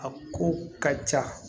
A ko ka ca